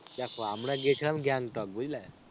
দেখো আমরা গেছিলাম গ্যাংটক বুঝলে?